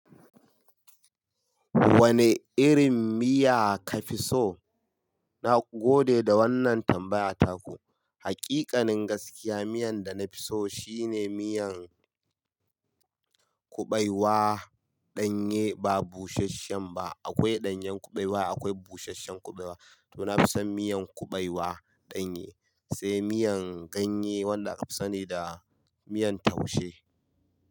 Wane irin miya ka fi so? Na gode da wannan tambayata ku. Hakikanin gaskiya miyan da na fi so shine miyan kuɓewa ɗanye ba busasshen ba. Akwai ɗanyen kuɓewa, akwai busasshen kuɓewa. To na fi son miyan kuɓewa ɗanye, sai miyan ganye wanda na fi sani da miyan taushe.